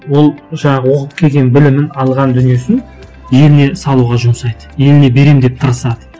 ол жаңағы оқып келген білімін алған дүниесін еліне салуға жұмсайды еліне беремін деп тырысады